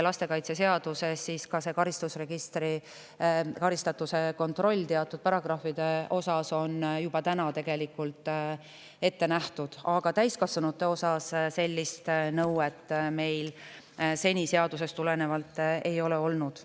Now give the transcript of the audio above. Lastekaitseseaduses on karistusregistrist karistatuse kontroll teatud paragrahvides juba ette nähtud, aga täiskasvanutega osas meil sellist nõuet seadusest tulenevalt seni ei ole olnud.